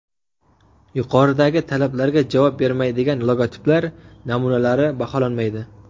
Yuqoridagi talablarga javob bermaydigan logotiplar namunalari baholanmaydi.